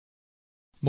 ধন্যবাদ ছাৰ